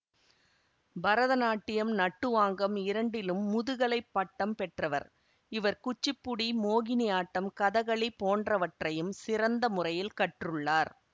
பரதநாட்டியம் நட்டுவாங்கம் இரண்டிலும் முதுகலை பட்டம் பெற்றவர் இவர் குச்சிப்புடி மோகினி ஆட்டம் கதகளி போன்றவற்றையும் சிறந்த முறையில் கற்றுள்ளார்